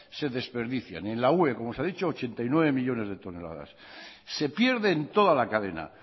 se desperdician y en la ue como se ha dicho ochenta y nueve millónes de toneladas se pierde en toda la cadena